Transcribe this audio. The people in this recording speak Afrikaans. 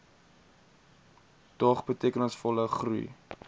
dog betekenisvolle groei